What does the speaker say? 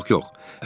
Yox, yox, yox.